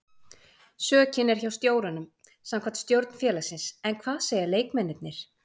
Sökin er hjá stjóranum samkvæmt stjórn félagsins en hvað segja leikmennirnir?